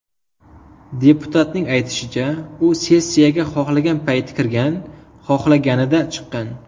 Deputatning aytishicha, u sessiyaga xohlagan payti kirgan, xohlaganida chiqqan.